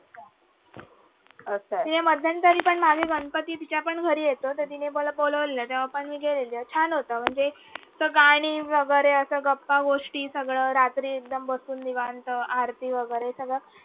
तिने मध्यंतरी पण मागे गणपती पण तिच्या पण घरी येतो तर तिने मला बोलवलेलं होतं तेव्हा पण मी गेले होते पण छान होतं म्हणजे अस गाणी वगैरे अस गप्पा गोष्टी सगळ रात्री एकदम बसून निवांत आरती वगैरे सर्व